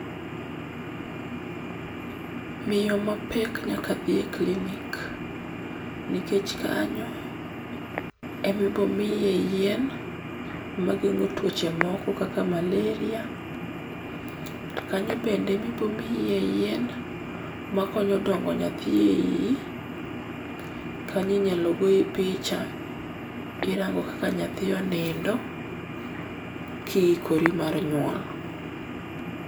Miyo mapek nyaka dhi e klinik nikech kanyo e ma ibo miye yien mageng'o tuoche moko kaka malaria. To kanyo bende e ma ibo mii yien ma konyo dongo nyathi e iyi. Kanyo inyalo goyi picha, irango kaka nyathi onindo, ka iikori mar nyuol.